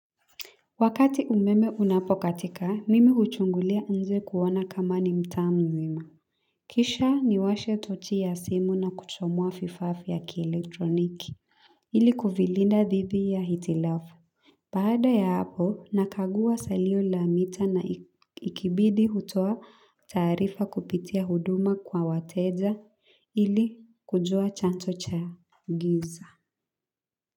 Wakati umeme unapokatika, mimi huchungulia nje kuona kama ni mtaa mzima. Kisha niwashe tochi ya simu na kuchomoa vifaa vya kielektroniki ili kuvilinda dhidi ya hitilafu baada ya hapo, nakagua salio la mita na ikibidi hutoa taarifa kupitia huduma kwa wateja ili kujua chanzo cha giza.